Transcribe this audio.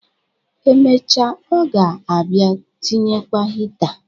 Emecha, ọ ga-abịa tinyekwa hita.